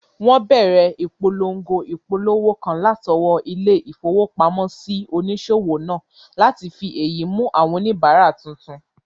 Wọ́n bẹ̀rẹ̀ ìpolongo ìpolówó kan látọwọ́ ilé-ìfowópamọ́sí onísòwò náà láti fi èyí mú àwọn oníbàárà tuntun